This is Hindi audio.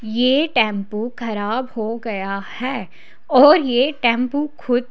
ये टैम्पो खराब हो गया है और ये टैम्पो खुद --